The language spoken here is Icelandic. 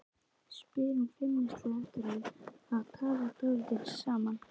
spyr hún feimnislega eftir að þau hafa talað dálítið saman.